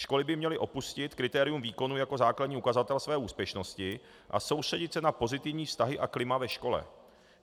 Školy by měly opustit kritérium výkonu jako základní ukazatel své úspěšnosti a soustředit se na pozitivní vztahy a klima ve škole.